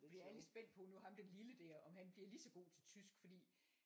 Vi er lidt spændte på nu ham den lille der om han bliver lige så godt til tysk fordi